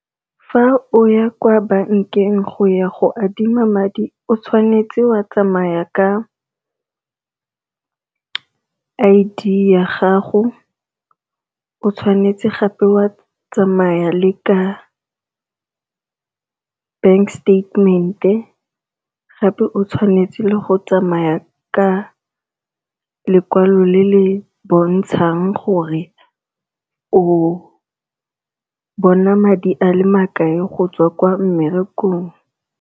Fa o ya kwa bankeng go ya go adima madi o tshwanetse wa tsamaya ka I_D ya gago, o tshwanetse gape wa tsamaya le ka bank statement-e, gape o tshwanetse go tsamaya ka lekwalo le le bontshang gore o bona madi a le makae go tswa ko mmerekong.